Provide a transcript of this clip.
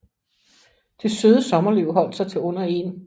Det søde sommerliv holdt sig til under 1